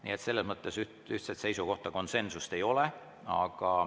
Nii et selles mõttes ühtset seisukohta, konsensust ei ole.